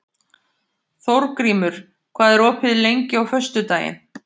Þórgrímur, hvað er opið lengi á föstudaginn?